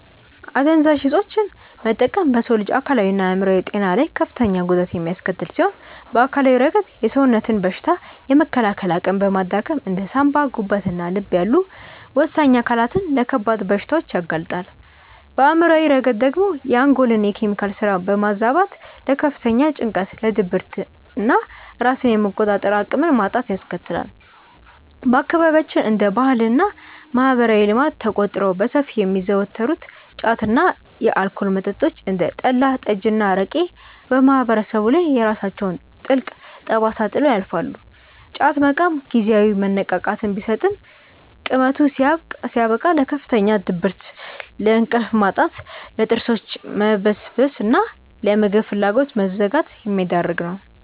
አደንዛዥ እፆችን መጠቀም በሰው ልጅ አካላዊና አእምሯዊ ጤና ላይ ከፍተኛ ጉዳት የሚያስከትል ሲሆን፣ በአካላዊ ረገድ የሰውነትን በሽታ የመከላከል አቅም በማዳከም እንደ ሳንባ፣ ጉበትና ልብ ያሉ ወሳኝ አካላትን ለከባድ በሽታዎች ያጋልጣል፤ በአእምሯዊ ረገድ ደግሞ የአንጎልን የኬሚካል ስራ በማዛባት ለከፍተኛ ጭንቀት፣ ለድብርትና ራስን የመቆጣጠር አቅምን ማጣትን ያስከትላል። በአካባቢያችን እንደ ባህልና ማህበራዊ ልማድ ተቆጥረው በሰፊው የሚዘወተሩት ጫት እና የአልኮል መጠጦች (እንደ ጠላ፣ ጠጅና አረቄ) በማህበረሰቡ ላይ የራሳቸውን ጥልቅ ጠባሳ ጥለው ያልፋሉ፤ ጫት መቃም ጊዜያዊ መነቃቃትን ቢሰጥም ቅመቱ ሲያበቃ ለከፍተኛ ድብርት፣ ለእንቅልፍ ማጣት፣ ለጥርሶች መበስበስና ለምግብ ፍላጎት መዘጋት የሚዳርግ ነው።